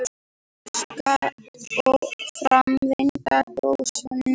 Gjóskan og framvinda gossins.